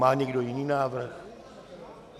Má někdo jiný návrh?